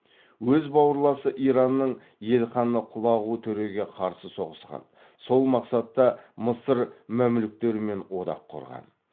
өз бауырласы иранның елханы құлағу төреге қарсы соғысқан сол мақсатта мысыр мәмлүктерімен одақ құрған